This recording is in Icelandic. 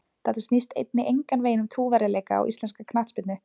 Þetta snýst einnig engan veginn um trúverðugleika á íslenska knattspyrnu.